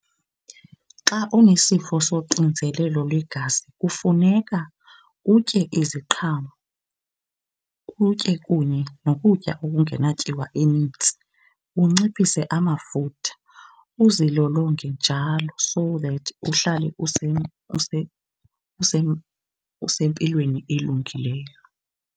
Xa onesifo soxinzelelo lwegazi kufuneka utye iziqhamo, utye kunye nokutya okungenatyiwa enintsi, unciphise amafutha, uzilolonge njalo so that uhlale usempilweni elungileyo.